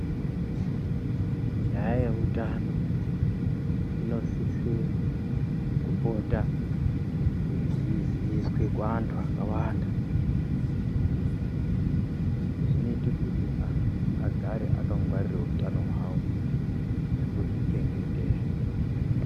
Nyaya yeutano, inosise kupota yeiziiswe kuantu akawanda. Izvii zvinoite kuti antu agare akangwarire utano hwavo, nekuzvi chechetedza.